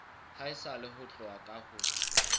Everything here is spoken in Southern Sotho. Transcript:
haesale ho tloha ka ho